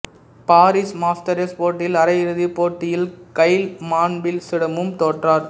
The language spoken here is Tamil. பாரிஸ் மாஸ்டர்ஸ் போட்டியில் அரை இறுதிப் போட்டியில் கைல் மான்பில்சிடமும் தோற்றார்